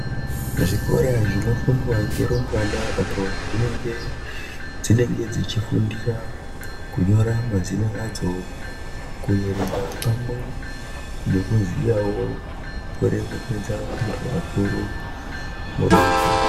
Zvikora zvinofundwa ngerumbwana apo zvinenge dzinenge dzichifundira kunyora mazina adzo, kuyerenga pamwe nekuziyavo kuremekedza antu akuru muduntu.